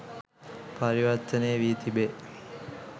පරිවර්තනය වී තිබේ